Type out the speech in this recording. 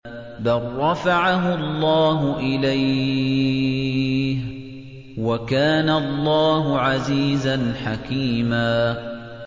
بَل رَّفَعَهُ اللَّهُ إِلَيْهِ ۚ وَكَانَ اللَّهُ عَزِيزًا حَكِيمًا